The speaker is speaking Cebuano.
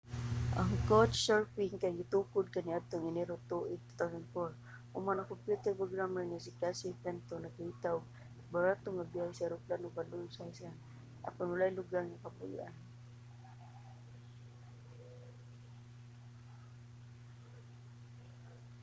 ang couchsurfing kay gitukod kaniadtong enero tuig 2004 human ang kompyuter programmer nga si casey fenton nakakita og barato nga biyahe sa eroplano padulong sa iceland apan walay lugar nga kapuy-an